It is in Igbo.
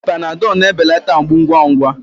Panadọlụ na-ebelata mgbu ngwa ngwa.